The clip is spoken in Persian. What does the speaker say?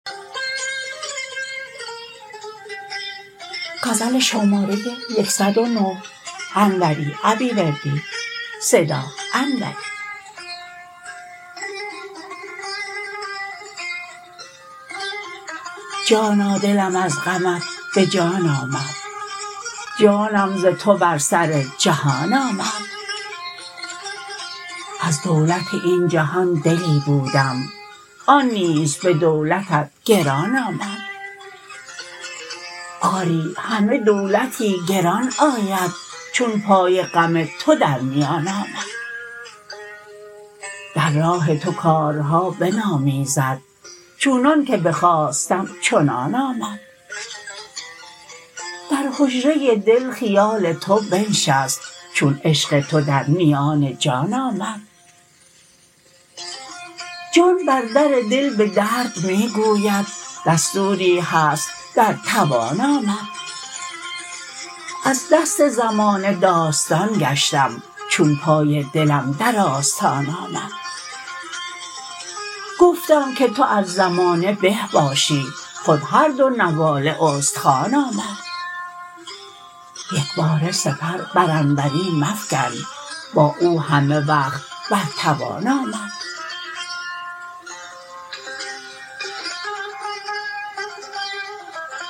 جانا دلم از غمت به جان آمد جانم ز تو بر سر جهان آمد از دولت این جهان دلی بودم آن نیز به دولتت گران آمد آری همه دولتی گران آید چون پای غم تو در میان آمد در راه تو کارها بنامیزد چونان که بخواستم چنان آمد در حجره دل خیال تو بنشست چون عشق تو در میان جان آمد جان بر در دل به درد می گوید دستوری هست در توان آمد از دست زمانه داستان گشتم چون پای دلم در آستان آمد گفتم که تو از زمانه به باشی خود هر دو نواله استخوان آمد یکباره سپر بر انوری مفکن با او همه وقت بر توان آمد